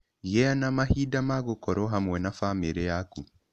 Gĩa na mahinda ma gũkorũo hamwe na famĩrĩ yaku.